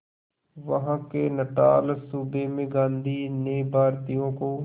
वहां के नटाल सूबे में गांधी ने भारतीयों को